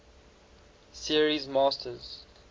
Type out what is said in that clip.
series masters